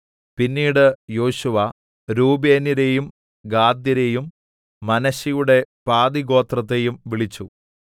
പിന്നീട് യോശുവ രൂബേന്യരേയും ഗാദ്യരെയും മനശ്ശെയുടെ പാതിഗോത്രത്തെയും വിളിച്ചു